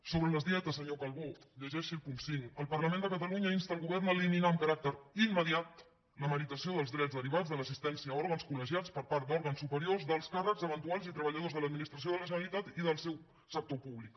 sobre les dietes senyor calbó llegeixi el punt cinc el parlament de catalunya insta el govern a eliminar amb caràcter immediatvats de l’assistència a òrgans col·legiats per part d’òrgans superiors d’alts càrrecs eventuals i treballadors de l’administració de la generalitat i del seu sector públic